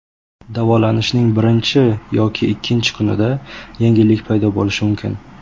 Davolanishning birinchi yoki ikkinchi kunida yengillik paydo bo‘lishi mumkin.